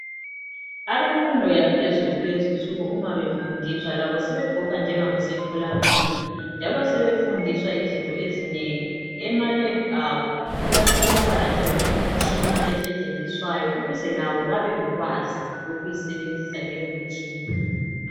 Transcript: Abemfundo yaphezulu kulezinsuku labo uma befundiswa bagqoka njengabasemtholampilo njalo sebefundiswa izinto ezinengi. EmaLab abo kuyatholakala njalo imitshina abazisebenzisayo ukuze labo babelolwazi lokuyisebenza leyomtshina.